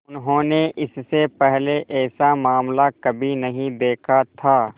उन्होंने इससे पहले ऐसा मामला कभी नहीं देखा था